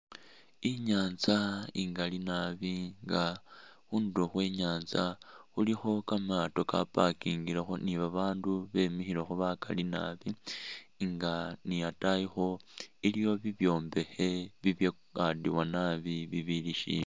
Inyanza ingali naabi nga khundulo khwenyanza khulikho kamaato ka parking lekho ni babaandu bemikhilekho bakali naabi nga ni ataayikho iliwo bibyombekhe bibyakadiwa naabi bibili shimbi